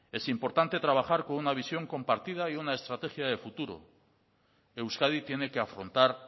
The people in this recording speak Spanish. es importante trabajar con una visión compartida y una estrategia de futuro euskadi tiene que afrontar